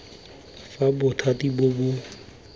fa bothati bo bo kgonang